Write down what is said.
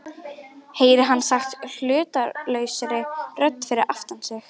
heyrir hann sagt hlutlausri rödd fyrir aftan sig.